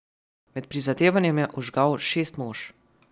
Med prizadevanjem je ožgal šest mož.